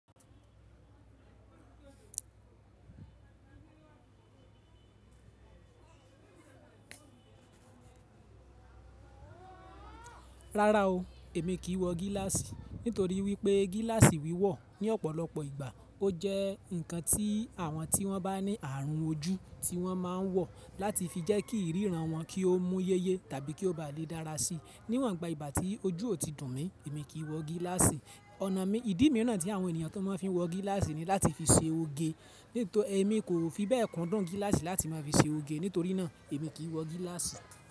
Rárá o, èmi kì í wọ gíláàsì nítorí wípé gíláàsì wíwọ̀ ní ọ̀pọ̀lọpọ̀ ìgbà, ó jẹ́ ǹkan tí àwọn tí wón bá ní àrùn ojú ti wón máa ń wọ láti fi jẹ́ kí ríran wọn kí ó mú yéyé tàbí kí ó bá lè dára sí. Níwòn gba ìgbà tí ojú ò tí dùn mí, èmi kì í wọ gíláàsì. Ọ̀nà mi, ìdí mìíràn tí àwọn ènìyàn tó máa ń fi wọ gíláàsì ni láti fi ṣe oge. Nítorí èmi kò fi bẹ́ẹ̀ kun dun gíláàsì láti máa fi ṣe oge, nítorí náà èmi kì í wọ gíláàsì.